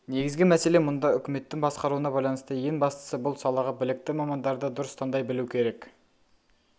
негізгі мәселе мұнда үкіметтің басқаруына байланысты ең бастысы бұл салаға білікті мамандарды дұрыс таңдау білу керек